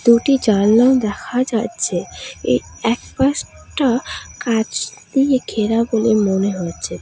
দুটি জালনা দেখা যাচ্ছে এ একপাশটা কাঁচ দিয়ে ঘেরা বলে মনে হচ্ছে।